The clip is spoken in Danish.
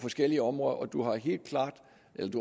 forskellige områder